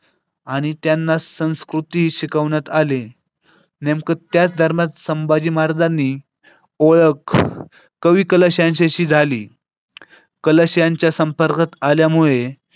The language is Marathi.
आणि त्यांना संस्कृती शिकवण्यात आले नेमकं त्याच दरम्यान संभाजी महाराजांनी ओळख कवी कलश यांच्याशी झाली. कलश यांच्या संपर्कात आल्यामुळे.